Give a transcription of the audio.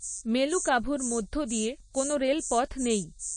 মেলুকাভুর মধ্য দিয়ে কোনো রেলপথ নেই।